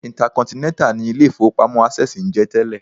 Intercontinental ni ilé-ìfowópamọ́ Access ń jẹ́ tẹ́lẹ̀